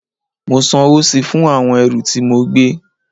Mo sanwó síi fún àwọn ẹrù tí mo gbé